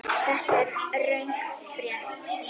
Þetta er röng frétt.